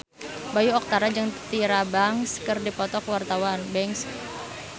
Bayu Octara jeung Tyra Banks keur dipoto ku wartawan